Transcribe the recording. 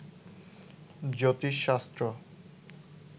জ্যোতিষশাস্ত্র